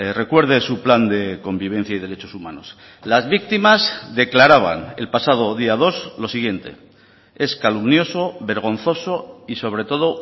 recuerde su plan de convivencia y derechos humanos las víctimas declaraban el pasado día dos lo siguiente es calumnioso vergonzoso y sobre todo